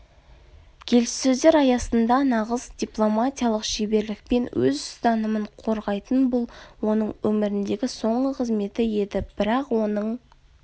келіссөздер аясында нағыз дипломатиялық шеберлікпен өз ұстанымын қорғайтын бұл оның өміріндегі соңғы қызметі еді бірақ оның